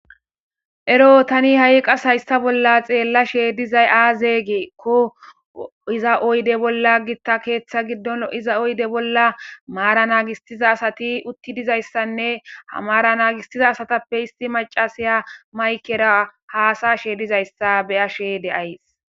Ero tani ha7i qas hayssaa bolla xeellashe dizay aaze giikko iza oyde bolla gitta keetha giddon lo7iza oyde bolla maara naagissiza asati utti dizayssanne ha maara naagisiza asatappe issi macasiya maykera haasa7ashe dizayssa beyashe de7ays.